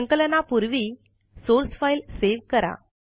संकलना पूर्वी source file save करा